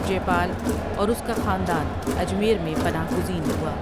جے پال اور اس کا خاندان اجمیر میں پناہ گزین ہوا ۔